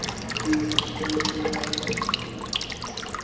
i tshi tshimbilelana na mushumo